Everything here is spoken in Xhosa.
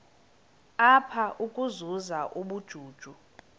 apha ukuzuza ubujuju